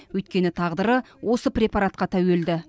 өйткені тағдыры осы препаратқа тәуелді